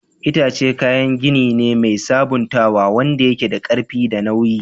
Itace kayan gini ne mai sabuntawa wanda yake da ƙarfi da nauyi.